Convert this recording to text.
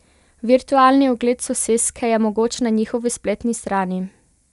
Virtualni ogled soseske je mogoč na njihovi spletni strani.